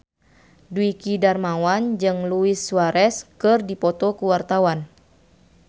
Dwiki Darmawan jeung Luis Suarez keur dipoto ku wartawan